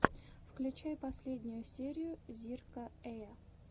включай последнюю серию зирка эя